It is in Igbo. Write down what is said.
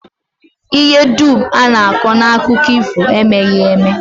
Ihe dum a na-akọ n'akụkọ ifo emeghị eme